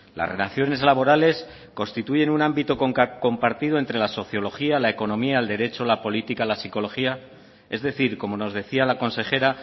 las relaciones laborales constituyen un ámbito compartido entre la sociología la economía el derecho la política la psicología es decir como nos decía la consejera